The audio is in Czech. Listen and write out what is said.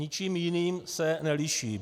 Ničím jiným se neliší.